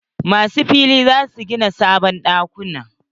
Masu fili za su gina sabon ɗakuna.